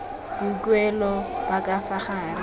boikuelo ba ka fa gare